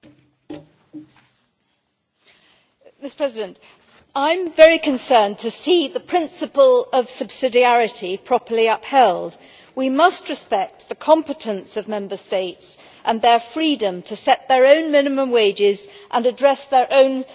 Mr President, I am very concerned to see the principle of subsidiarity properly upheld. We must respect the competence of Member States and their freedom to set their own minimum wages and address their own social policy issues as they see fit.